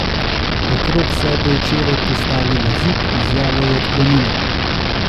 Okrog sebe je včeraj postavila zid, izjavo je odklonila.